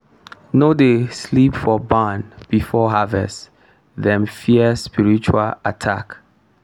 no dey sleep for barn before harvest dem fear spiritual attack.